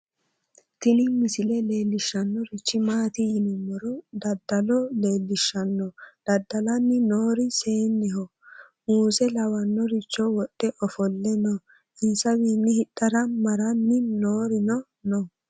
tini misile leellishannorichi maati yiniro daddalo leellishshanno dadda'lanni noori seenneho muuse lawinoricho wodhe ofolle no insawiinni hidhara maranni noorino no